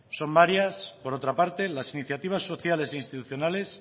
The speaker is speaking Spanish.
son varias por otra parte las iniciativas sociales e institucionales